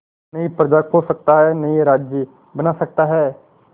नई प्रजा खोज सकता है नए राज्य बना सकता है